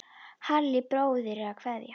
Halli bróðir er að kveðja.